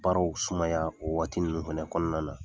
Baaraw sumaya o waati ninnu fɛnɛ kɔnɔna la